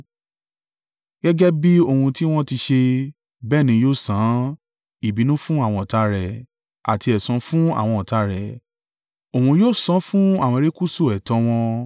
Gẹ́gẹ́ bí ohun tí wọ́n ti ṣe, bẹ́ẹ̀ ni yóò san án ìbínú fún àwọn ọ̀tá rẹ̀ àti ẹ̀san fún àwọn ọ̀tá rẹ̀; òun yóò san án fún àwọn erékùṣù ẹ̀tọ́ wọn.